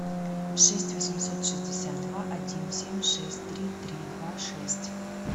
шесть восемьсот шестьдесят два один семь шесть три три два шесть